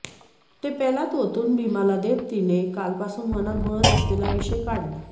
ते पेल्यात ओतून भीमाला देत तिने कालपासून मनात घोळत असलेला विषय काढला